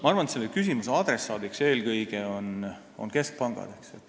Ma arvan, et selle adressaadid on eelkõige keskpangad.